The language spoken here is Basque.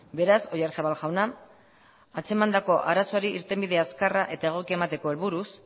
beraz oyarzabal jauna atzemandako arazoari irtenbide azkarra eta egokia emateko helburuz